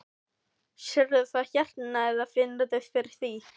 Sérðu það hérna eða finnurðu fyrir því?